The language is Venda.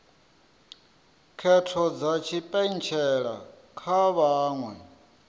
khetho dza tshipentshela kha vhaṅwe